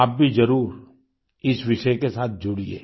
आप भी जरूर इस विषय के साथ जुड़िये